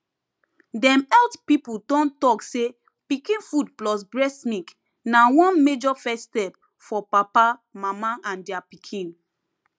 dem health people don talk say pikin food plus breast milk na one major first step for papa mama and their pikin